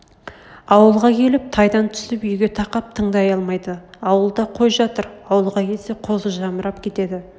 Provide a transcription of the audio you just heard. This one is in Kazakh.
ауылға келіп тайдан түсіп үйге тақап тыңдай алмайды ауылда қой жатыр ауылға келсе қозы жамырап кетеді